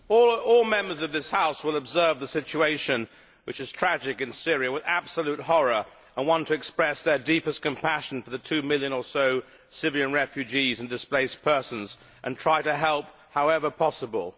Mr President, all Members of this House will observe the situation in Syria, which is tragic, with absolute horror and want to express their deepest compassion for the two million or so Syrian refugees and displaced persons and try to help however possible.